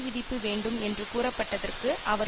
விதிப்பு வேண்டும் என்று கூறப்பட்டதற்கு அவர்